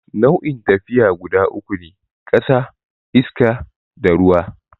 Nau'in tafiya guda uku ne, ƙasa, iska, da ruwa.